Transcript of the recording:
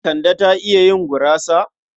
Kande ta iya yin gurasa?